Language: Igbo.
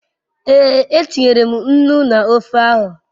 Ee, e tinyere m nnu n'ofe ahu